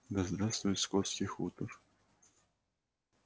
да здравствует скотский хутор